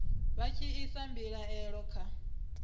vha tshi isa mbilaelo kha